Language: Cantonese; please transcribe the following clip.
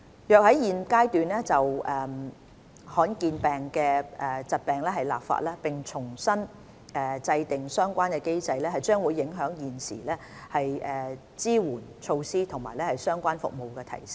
如果在現階段就罕見疾病立法，並重新制訂相關機制，將會影響現時的支援措施及相關的服務提升。